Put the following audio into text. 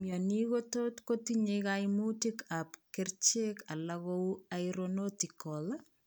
Mionik kotot kotinye kaimutic ab kercheek alak kou irinotecan